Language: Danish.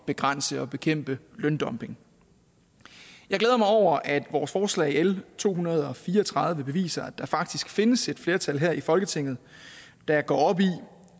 begrænse og bekæmpe løndumping jeg glæder mig over at vores forslag l to hundrede og fire og tredive beviser at der faktisk findes et flertal her i folketinget der går op i